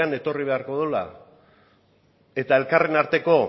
etorri beharko duela eta elkarren arteko